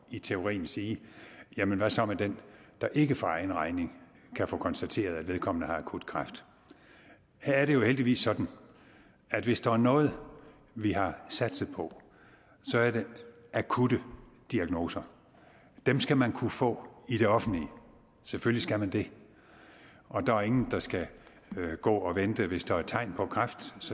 i teorien sige jamen hvad så med den der ikke for egen regning kan få konstateret at vedkommende har akut kræft her er det jo heldigvis sådan at hvis der er noget vi har satset på så er det akutte diagnoser dem skal man kunne få i det offentlige selvfølgelig skal man det og der er ingen der skal gå og vente hvis der er tegn på kræft